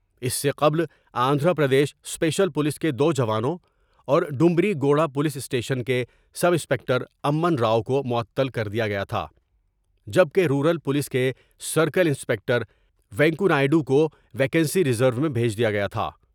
اس سے قبل Andhra Pradesh special police کے دو جوانوں اور ڈومبری گوڑہ پولیس اسٹیشن کے سب انسپکٹر امن راؤ کومعطل کر دیا گیا تھا جب کہ رورل پولیس کے سرکل انسپکٹر و نیکونائیڈ وکو ویکسی ریز رو میں بھیج دیا گیا تھا ۔